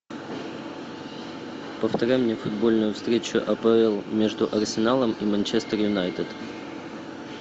повторяй мне футбольную встречу апл между арсеналом и манчестер юнайтед